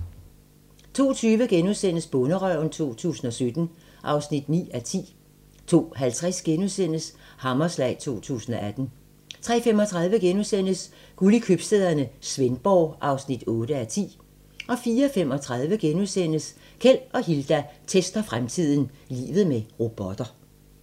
02:20: Bonderøven 2017 (9:10)* 02:50: Hammerslag 2018 * 03:35: Guld i købstæderne - Svendborg (8:10)* 04:35: Keld og Hilda tester fremtiden - Livet med robotter (1:6)*